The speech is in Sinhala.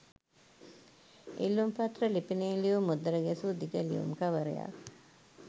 ඉල්ලුම්පත්‍ර ලිපිනය ලියූ මුද්දර ගැසූ දිග ලියුම් කවරයක්